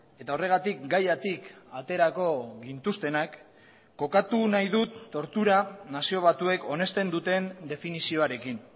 eta horregatik gaiatik aterako gintuztenak kokatu nahi dut tortura nazio batuek onesten duten definizioarekin